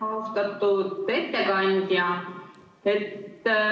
Austatud ettekandja!